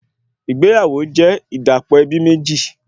Ìgbéyàwó jẹ́ ìdàpọ̀ ẹbí méjì